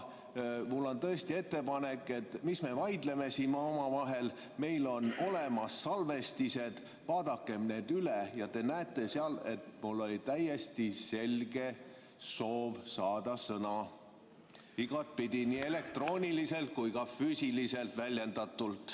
Mul on tõesti ettepanek, et mis me vaidleme siin omavahel, meil on olemas salvestised, vaadakem need üle ja te näete, et mul oli täiesti selge soov saada sõna, igatepidi, nii elektrooniliselt kui ka füüsiliselt väljendatult.